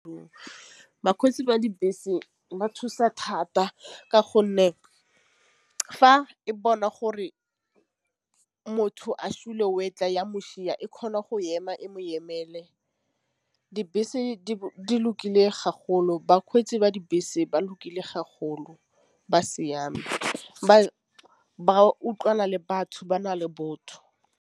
Bakgweetsi ba dibese ba thusa thata ka gonne fa e bona gore motho tla ya mošwa e kgona go ema e mo ema ele dibese di lokile bakgweetsi ba dibese ba lokile go bagolo ba siame ba utlwana le batho ba na le botho.